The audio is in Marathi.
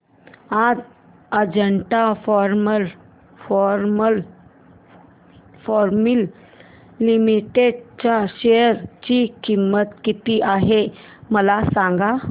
आज अजंता फार्मा लिमिटेड च्या शेअर ची किंमत किती आहे मला सांगा